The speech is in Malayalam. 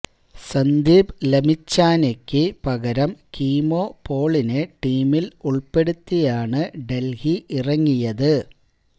സന്ദീപ് ലമിച്ചാനെയ്ക്ക് പകരം കീമോ പോളിനെ ടീമില് ഉള്പ്പെടുത്തിയാണ് ഡല്ഹി ഇറങ്ങിയത്